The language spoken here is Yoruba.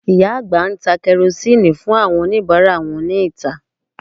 Ìyá àgbà ń ta Karosíìnù fún àwọn oníbàárà wọn níta